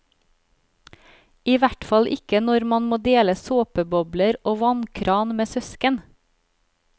I hvert fall ikke når man må dele såpebobler og vannkran med søsken.